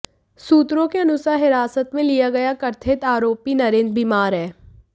सूत्रों के अनुसार हिरासत में लिया गया कथित आरोपी नरेंद्र बीमार है